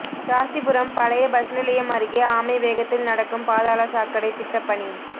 ராசிபுரம் பழைய பஸ் நிலையம் அருகே ஆமை வேகத்தில் நடக்கும் பாதாள சாக்கடை திட்டப்பணி